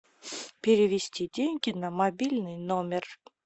перевести деньги на мобильный номер